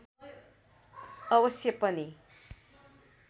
अवश्य पनि